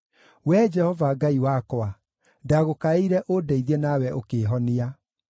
Wee Jehova Ngai wakwa, ndagũkaĩire ũndeithie nawe ũkĩĩhonia.